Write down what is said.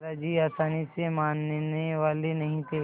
दादाजी आसानी से मानने वाले नहीं थे